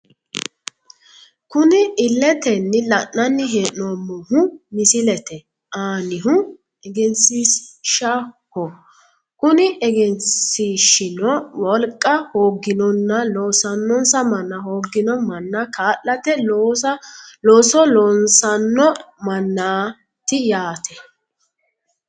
Kuni illetenni la'nanni hee'noommohu misilete aanihu egensiishshaho kuni egensiishshino wolqa hooginonna lossannonsa manna hoogino manna kaa'late looso loosssanno mannaati yaate.